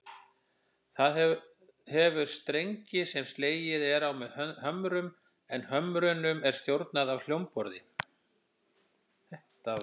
Það hefur strengi sem slegið er á með hömrum, en hömrunum er stjórnað af hljómborði.